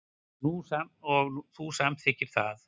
Og þú samþykktir það.